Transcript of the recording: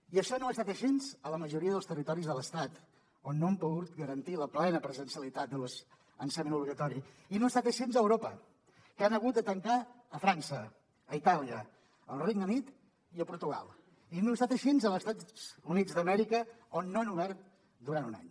i això no ha estat així a la majoria dels territoris de l’estat on no han pogut garantir la plena presencialitat de l’ensenyament obligatori i no ha estat així a europa que han hagut de tancar a frança a itàlia al regne unit i a portugal i no ha estat així als estats units d’amèrica on no han obert durant un any